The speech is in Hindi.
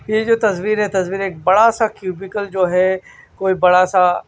यह जो तस्वीर है तस्वीर एक बड़ा सा क्यूबिकल जो है कोई बड़ा सा--